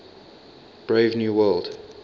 brave new world